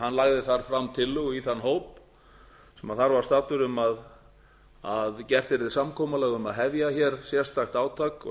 hann lagði þar fram tillögu í þann hóp sem þar var staddur um að gert yrði samkomulag um að hefja hér sérstakt átak og